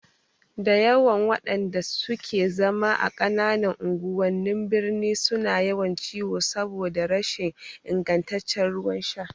Dayawa waƴanda suke zama a ƙananan unguwannin birni suna yawan ciwo saboda rashin ingantaccen ruwan sha